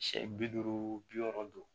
Siyɛ bi duuru bi wɔɔrɔ don